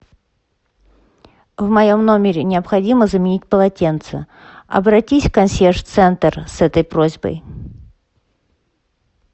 в моем номере необходимо заменить полотенце обратись в консьерж центр с этой просьбой